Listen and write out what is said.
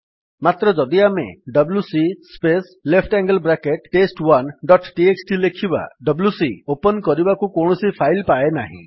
ମାତ୍ର ଯଦି ଆମେ ଡବ୍ଲ୍ୟୁସି space left angle bracket test one dot txt ଲେଖିବା ଡବ୍ଲ୍ୟୁସି ଓପନ୍ କରିବାକୁ କୌଣସି ଫାଇଲ୍ ପାଏ ନାହିଁ